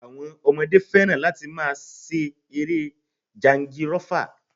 Àwọn ọmọdé fẹ́ràn láti máa ṣe eré jangirọ́fa